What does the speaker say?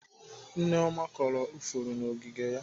Nneoma kọrọ ifuru n'ogige ya.